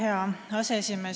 Hea aseesimees!